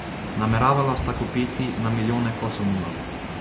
Nameravala sta kupiti na milijone kosov mila.